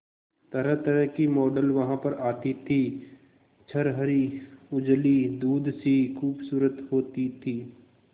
तरहतरह की मॉडल वहां पर आती थी छरहरी उजली दूध सी खूबसूरत होती थी